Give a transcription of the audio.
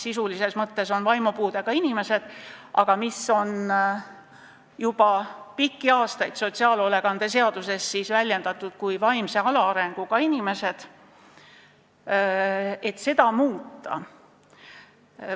Sisulises mõttes on need vaimupuudega inimesed, aga juba pikki aastaid on sotsiaalhoolekande seaduses räägitud vaimse alaarenguga inimestest.